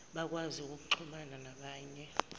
bakwazi ukuxhumana nabanye